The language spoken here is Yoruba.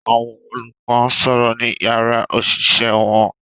Àwọn olùkọ́ ń sọ̀rọ̀ ní yàrá òṣìṣẹ́ wọn